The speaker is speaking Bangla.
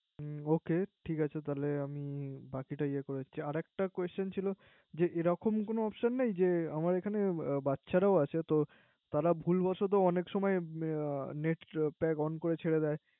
হুম ওকে ঠিক আছে তাহলে। আমি বাকিটা ইয়ে করে দিচ্ছে। আর একটা Question ছিল এরকম কোন Option নেই যে। আমার এখানে বা্চ্চারাও আছে। তারা ভুল বশত অনেক সময় Net on করে ছেড়ে দেয়